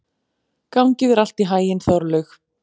Gangi þér allt í haginn, Þorlaug.